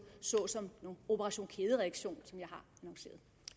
såsom operation kædereaktion som